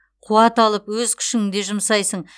қуат алып өз күшіңде жұмсайсың